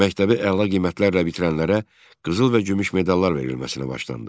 Məktəbi əla qiymətlərlə bitirənlərə qızıl və gümüş medallar verilməsinə başlandı.